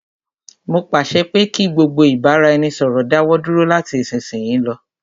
Mó pàṣẹ pé kí gbogbo ìbáraẹnisọ̀rọ̀ dáwọ dúró lati isisiyi lọ.